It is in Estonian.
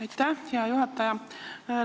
Aitäh, hea juhataja!